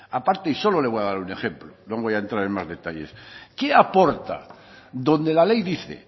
aparte y solo le voy a dar un ejemplo no voy a entrar en más detalles qué aporta donde la ley dice